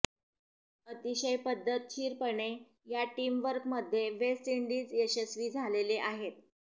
अतिशय पद्धतशीरपणे या टीमवर्कमध्ये वेस्ट इंडिज यशस्वी झालेले आहे